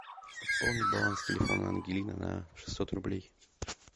пополни баланс телефона ангелина на шестьсот рублей